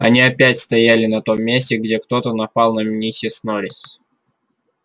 они опять стояли на том месте где кто-то напал на миссис норрис